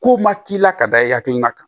Kow ma k'i la ka da e hakilina kan